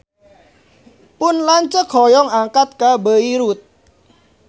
Pun lanceuk hoyong angkat ka Beirut